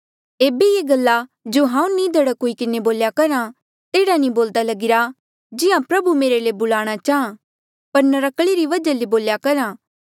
ऐबे ये गल्ला जो हांऊँ निधड़क हुई किन्हें बोल्या करहा तेहड़ा नी बोलदा लगिरा जिहां प्रभु मेरे ले बुलाणा चाहां पर नर्क्कले री वजहा ले बोल्या करहा